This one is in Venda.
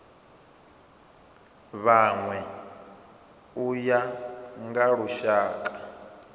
vhanwe u ya nga lushaka